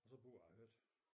Og så bor jeg højt